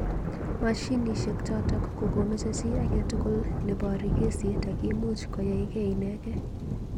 Mashinishek chotok komomeche chi agetugul nebory kesit ak imuch koyaikei inekei.